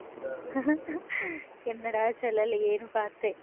என்னடா சொல்லலையேன்னு பார்த்தேன்